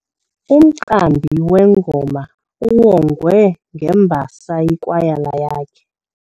Umqambi wengoma uwongwe ngembasa yikwayala yakhe.